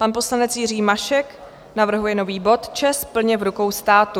Pan poslanec Jiří Mašek navrhuje nový bod ČEZ plně v rukou státu.